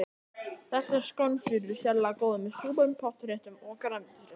Þessar skonsur eru sérlega góðar með súpum, pottréttum og grænmetisréttum.